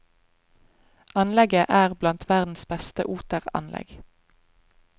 Anlegget er blant verdens beste oteranlegg.